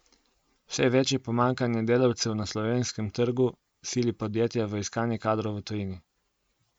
Vse večje pomanjkanje delavcev na slovenskem trgu sili podjetja v iskanje kadrov v tujini.